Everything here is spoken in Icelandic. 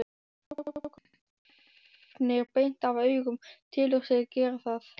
Strákurinn stefnir beint af augum, telur sig gera það.